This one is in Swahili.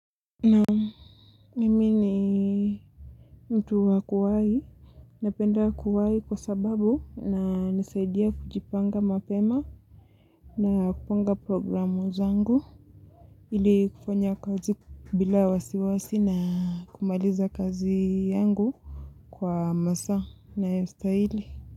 Naam, mimi ni mtu wa kuwai, napenda kuwai kwa sababu inanisaidia kujipanga mapema na kupanga programu zangu ili kufanya kazi bila wasiwasi na kumaliza kazi yangu kwa masaa yanayostahili.